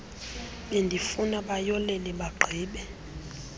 bendifuna bayolele bagqibe